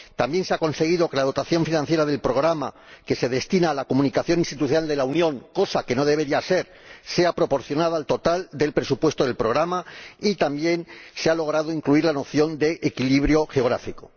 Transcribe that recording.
También se ha conseguido que la dotación financiera del programa que se destina a la comunicación institucional de la Unión —cosa que no debería ser— sea proporcionada al total del presupuesto del programa, y también se ha logrado incluir la noción de equilibrio geográfico.